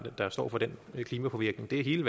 billig energi